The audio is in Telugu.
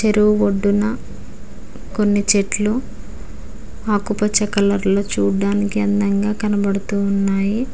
చెరువు ఒడ్డున కొన్ని చెట్లు ఆకుపచ్చ కలర్ లో చూడ్డాడానికి అందంగా కనబడుతూ ఉన్నాయి.